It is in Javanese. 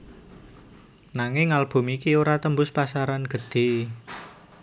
Nanging album iki ora tembus pasaran gedhe